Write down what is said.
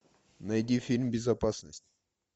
найди фильм безопасность